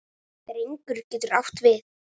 Drengur getur átt við